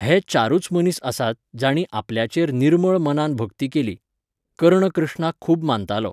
हे चारुच मनीस आसात, जाणीं आपल्याचेर निर्मळ मनान भक्ती केली. कर्ण कृष्णाक खूब मानतालो.